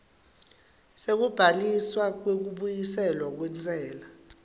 sekubhaliswa kwekubuyiselwa kwentsela